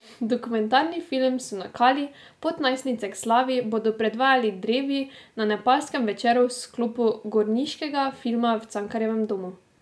Dokumentarni film Sunakali pot najstnice k slavi bodo predvajali drevi na nepalskem večeru v sklopu gorniškega filma v Cankarjevem domu.